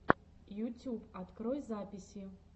ютюб открой записи